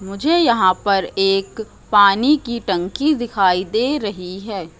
मुझे यहां पर एक पानी की टंकी दिखाई दे रही है।